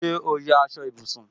Ṣé o ya aṣọ ìbùsùn